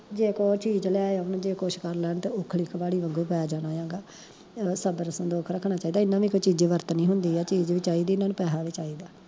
ਜੇ ਕੋਈ ਚੀਜ ਲੈ ਆਉਣਗੇ ਕੁਸ਼ ਕਰ ਲੈਣ ਤਾਂ ਉਖਲੀ ਕਵਾੜੀ ਵਾਂਗੂ ਪੈ ਜਾਣਾ ਆ ਗਾ, ਸਬਰ ਸੰਤੋਖ ਰੱਖਣਾ ਚਾਈਦਾ ਏਨੇ ਨੇ ਕੋਈ ਚੀਜੀ ਵਰਤਨੀ ਹੁੰਦੀ ਆ ਚੀਜ ਵੀ ਚਾਈਦੀ ਏਨਾ ਨੂੰ ਪੈਸਾ ਵੀ ਚਾਈਦਾ